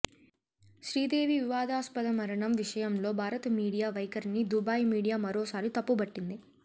శ్రీదేవి వివాదాస్పద మరణం విషయంలో భారత మీడియా వైఖరిని దుబాయ్ మీడియా మరోసారి తప్పుబట్టింది